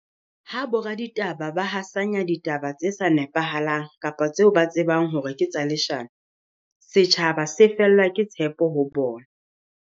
Ha boraditaba ba hasanya ditaba tse sa nepahalang kapa tseo ba tsebang hore ke tsa leshano, setjhaba se fellwa ke tshepo ho bona.